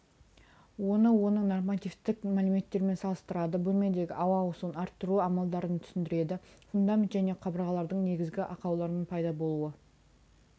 оны оның нормативтік мәліметтерімен салыстырады бөлмедегі ауа ауысуын арттыру амалдарын түсіндіреді фундамент және қабырғалардың негізгі ақаулары пайда болуы